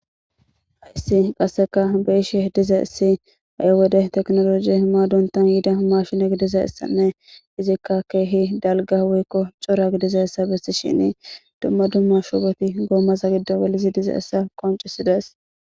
Hayissan qasekka beyishshe dizayissi ha'i wode technology maadonta mashin gidishshin izikka kehi dalga woyikko cora gididays besishini dumma dumma shuboti gomaaza gido gelidayssa qoncisidess